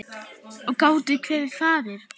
Og gátum hvergi farið.